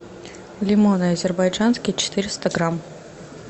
лимоны азербайджанские четыреста грамм